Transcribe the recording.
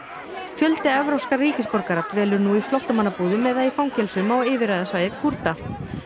fjöldi evrópskra ríkisborgara dvelur nú í flóttamannabúðum eða í fangelsum á yfirráðasvæði Kúrda